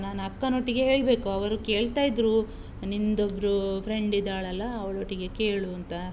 ನಾನ್ ಅಕ್ಕನೊಟ್ಟಿಗೆ ಹೇಳ್ಬೇಕು, ಅವರು ಕೇಳ್ತಾ ಇದ್ರು, ನಿಂದ್ ಒಬ್ಬರು friend ಇದ್ದಾಳಲ್ಲಾ ಅವ್ಳ್ ಒಟ್ಟಿಗೆ ಕೇಳೂಂತ.